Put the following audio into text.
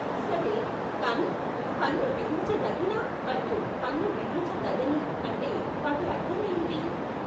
సరే, కానీ "పన్ను విధించదగిన" మరియు "పన్ను విధించదగని" అంటే వాటి అర్థం ఏమిటి?